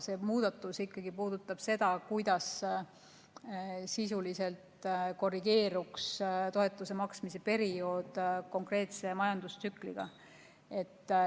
See muudatus puudutab ikkagi seda, kuidas sisuliselt korrigeeruks toetuse maksmise periood konkreetse majandustsükliga.